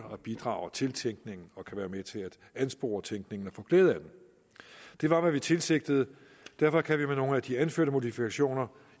og bidrager til tænkningen og kan være med til at anspore tænkningen og få glæde af den det var hvad vi tilsigtede og derfor kan vi med nogle af de anførte modifikationer